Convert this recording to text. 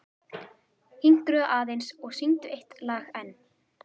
Hinkraðu aðeins og syngdu eitt lag enn.